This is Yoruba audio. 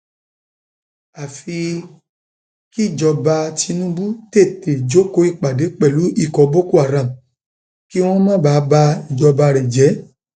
àfi kíjọba tinubu tètè jókòó ìpàdé pẹlú ikọ boko haram kí wọn má bàa ba ìjọba rẹ jẹ